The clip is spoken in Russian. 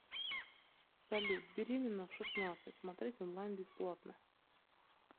салют беременна в шестнадцать смотреть онлайн бесплатно